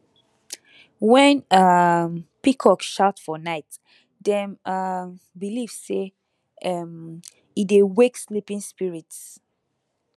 when um peacock shout for night dem um believe say um e dey wake sleeping spirits